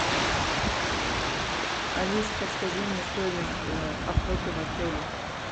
алиса подскажи мне стоимость охоты в отеле